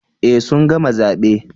Eh sun gama zabe